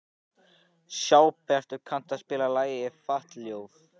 Sæbjartur, kanntu að spila lagið „Fatlafól“?